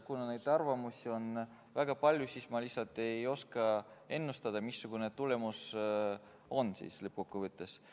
Kuna arvamusi on väga palju, siis ma lihtsalt ei oska ennustada, missugune tulemus lõppkokkuvõttes on.